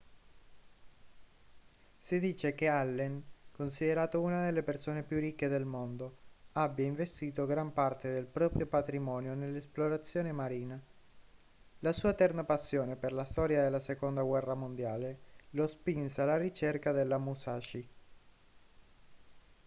si dice che allen considerato una delle persone più ricche del mondo abbia investito gran parte del proprio patrimonio nell'esplorazione marina la sua eterna passione per la storia della seconda guerra mondiale lo spinse alla ricerca della musashi